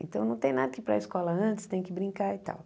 Então não tem nada que ir para a escola antes, tem que brincar e tal.